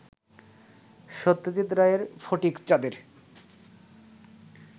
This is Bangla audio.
সত্যজিৎ রায়ের ফটিকচাঁদের